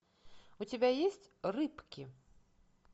у тебя есть рыбки